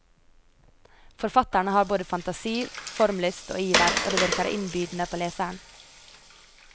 Forfatteren har både fantasi, formlyst og iver, og det virker innbydende på leseren.